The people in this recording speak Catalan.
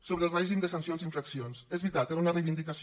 sobre el règim de sancions i infraccions és veritat era una reivindicació